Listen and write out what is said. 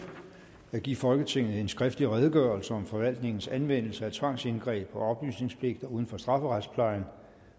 at give folketinget en skriftlig redegørelse om forvaltningens anvendelse af tvangsindgreb og oplysningspligter uden for strafferetsplejen